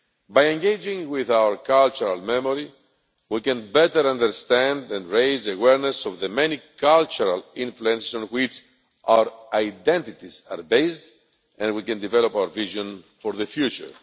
By engaging with our cultural memory, we can better understand and raise awareness of the many cultural influences on which our identities are based and we can develop our vision for the future.